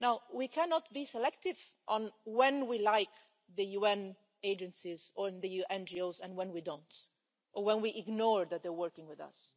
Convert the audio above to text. We cannot be selective on when we like the UN agencies or the NGOs and when we don't, or when we ignore that they're working with us.